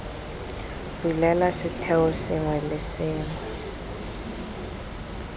bulela setheo sengwe le sengwe